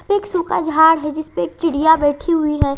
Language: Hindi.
एक सूखा झाड़ है जिस पे एक चिड़िया बैठी हुई है।